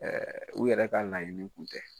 Ɛɛ u yɛrɛ k'a laɲini kun tɛ.